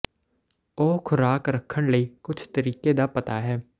ਉਹ ਖ਼ੁਰਾਕ ਰੱਖਣ ਲਈ ਕੁਝ ਤਰੀਕੇ ਦਾ ਪਤਾ ਹੈ